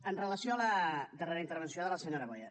amb relació a la darrera intervenció de la senyora boya